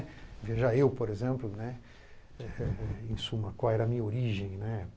Veja eu, por exemplo, né, em suma, qual era a minha origem, né?